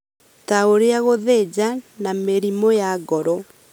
ta ũrĩa gũthĩnja na mĩrimũ ya ngoro.